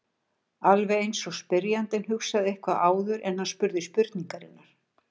Alveg eins og spyrjandinn hugsaði eitthvað áður en hann spurði spurningarinnar.